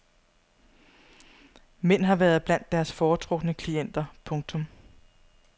Mænd har været blandt deres foretrukne klienter. punktum